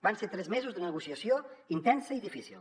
van ser tres mesos de negociació intensa i difícil